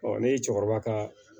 ne ye cɛkɔrɔba ka